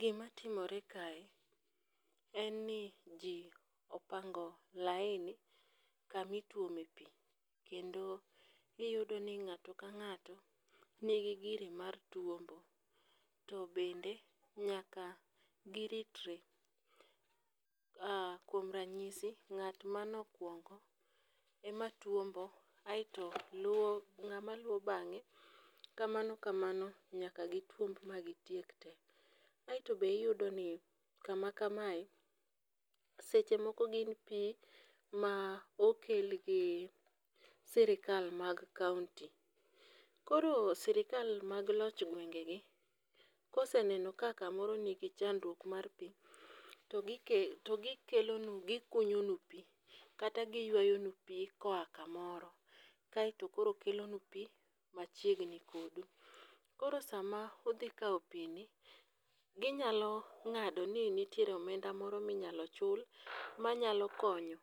Gimatimore kae en ni ji opango laini kama ituome pi. Kendo iyudo ni ng'ato ka ng'ato nigi gire mar tuombo to bende nyaka giritre. Ah kuom ranyisi ng'at mane okuongo ema tuombo aeto luwo ng'ama luwo bang'e kamano kamano nyaka gituomb magitiek te. Aeto be iyudo ni kama kamae seche moko gin pi ma okel gi sirikal mag kaonti. Koro sirikal mag loch gwengegi ka oseneno ka kamoro nigi chandruok mar pi to gikelo gikunyonu pi kata giyuayonu pi koa kamoro kaeto koro kelonu pi machiegni kodu. Koro sama udhi kawo pini ginyalo ng'ado ni nitiere omenda moro minyalo chul manyalo konyo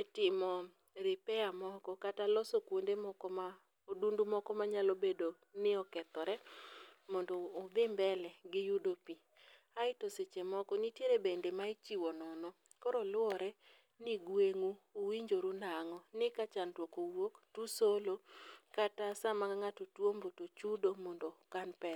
e timo repair moko kata loso kuonde moko ma odundu moko manyalo bedo ni okethore mondo udhi mbele giyudo pi. Aeto seche moko nitiere bende ma ichiwo nono, koro luwore ni gweng'u uwinjoru nang'o, ni ka chandruok owuok tousolo kata sama ng'ato chudo to ukan pesa